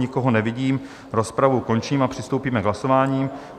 Nikoho nevidím, rozpravu končím a přistoupíme k hlasování.